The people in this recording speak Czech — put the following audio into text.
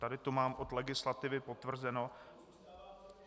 Tady to mám od legislativy potvrzeno.